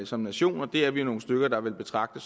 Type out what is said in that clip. som nation og det er vi jo nogle stykker der vil betragte